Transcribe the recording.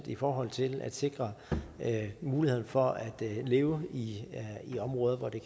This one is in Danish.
i forhold til at sikre mulighed for at leve i områder hvor det